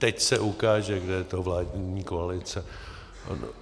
Teď se ukáže, kdo je to vládní koalice.